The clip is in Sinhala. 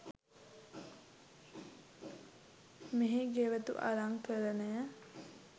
මෙහි ගෙවතු අලංකරණය